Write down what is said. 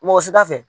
Mɔgɔ si da fɛ